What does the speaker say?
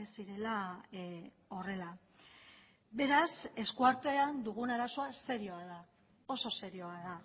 ez zirela horrela beraz eskuartean dugun arazoa serioa da oso serioa da